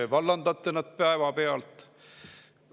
Kas vallandate nad päevapealt?